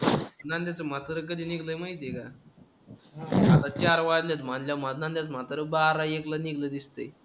नंद्याचं म्हातारं कधी निघलंय माहिती आहे का? आता चार वाजलेत म्हणल्यावर माझ्या अंदाजानं म्हातारं बारा, एकला निघलंय दिसतंय.